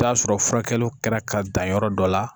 T'a sɔrɔ furakɛliw kɛra ka dan yɔrɔ dɔ la